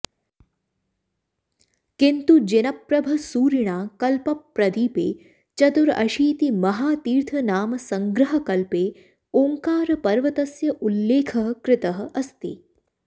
किन्तु जिनप्रभसूरिणा कल्पप्रदीपे चतुरशीतिमहातीर्थनामसङ्ग्रहकल्पे ओङ्कारपर्वतस्य उल्लेखः कृतः अस्ति